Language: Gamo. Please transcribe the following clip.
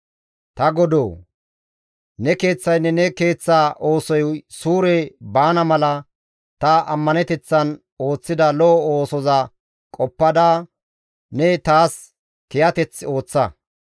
Ta Godoo! Ne keeththaynne ne keeththa oosoy suure baana mala ta ammaneteththan ooththida lo7o oosoza qoppada ne taas kiyateth ooththa.